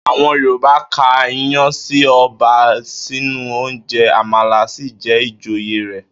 Àwo̩n Yorùbá ka iyán sí o̩ba nínú oúnje̩, àmàlà sì jé̩ ìjòyè rè̩